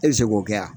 E bɛ se k'o kɛ wa